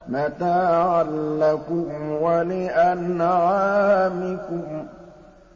مَتَاعًا لَّكُمْ وَلِأَنْعَامِكُمْ